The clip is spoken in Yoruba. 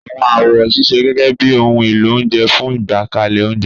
Àwọn àwo ń ṣiṣẹ́ gẹ́gẹ́ bí ohun èlò oúnjẹ fún ìgbékalẹ̀ oúnjẹ